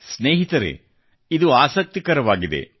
ಸ್ನೇಹಿತರೆ ಇದು ಆಸಕ್ತಿಕರವಾಗಿದೆ